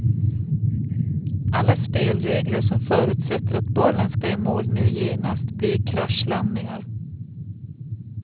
Alla spelregler som förutsätter att bollen ska i mål nu genast blir kraschlandningar.